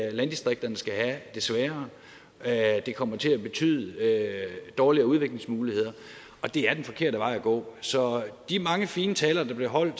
at landdistrikterne skal have det sværere at det kommer til at betyde dårligere udviklingsmuligheder og det er den forkerte vej at gå så de mange fine taler der blev holdt